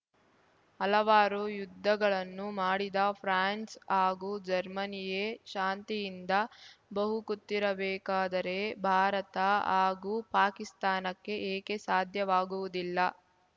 ಹಲವಾರು ಯುದ್ಧಗಳನ್ನು ಮಾಡಿದ ಫ್ರಾನ್ಸ್ ಹಾಗೂ ಜರ್ಮನಿಯೇ ಶಾಂತಿಯಿಂದ ಬಹುಕುತ್ತಿರಬೇಕಾದರೆ ಭಾರತ ಹಾಗೂ ಪಾಕಿಸ್ತಾನಕ್ಕೆ ಏಕೆ ಸಾಧ್ಯವಾಗುವುದಿಲ್ಲ